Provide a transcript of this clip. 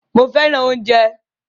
Mó fẹràn oúnjẹ.